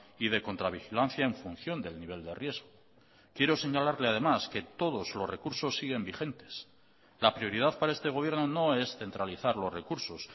y de contra vigilancia en función del nivel de riesgo quiero señalarle además que todos los recursos siguen vigentes la prioridad para este gobierno no es centralizar los recursos